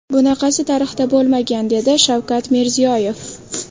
Bunaqasi tarixda bo‘lmagan”, dedi Shavkat Mirziyoyev.